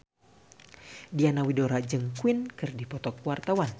Diana Widoera jeung Queen keur dipoto ku wartawan